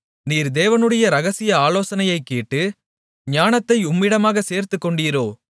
நீர் தேவனுடைய இரகசிய ஆலோசனையைக் கேட்டு ஞானத்தை உம்மிடமாகச் சேர்த்துக்கொண்டீரோ